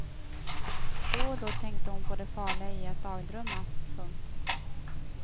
Då och då tänkte hon på det farliga i att dagdrömma. punkt